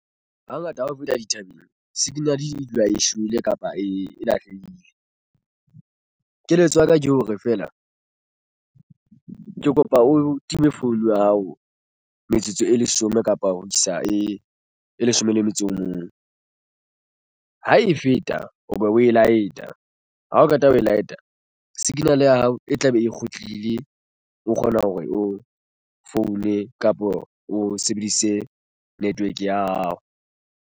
Hangata ha ho feta dithabeng signal e dula e shwele kapa e lahlehile. Keletso ya ka ke hore feela ke kopa o time phone ya hao metsotso e leshome kapa ho isa e leshome le metso o mong. Ha e feta o be o e light-a ha o qeta ho e light-a signal ya hao e tlabe e kgutlile o kgona hore o foune kapo o sebedise network ya hao.